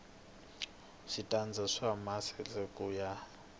switandati swa maasesele ku ya